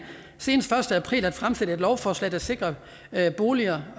senest den første april at fremsætte et lovforslag der sikrer at boliger